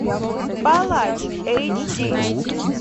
палач эйч ди